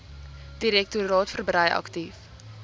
direktoraat verbrei aktief